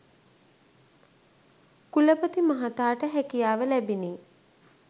කුලපති මහතාට හැකියාව ලැබිණි.